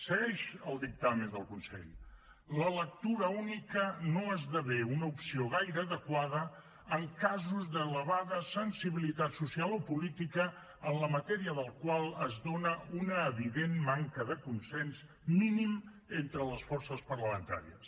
segueix el dictamen del consell la lectura única no esdevé una opció gaire adequada en casos d’elevada sensibilitat social o política de la matèria en els quals es dona una evident manca de consens mínim entre les forces parlamentàries